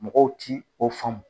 Mɔgɔw ti o faamu.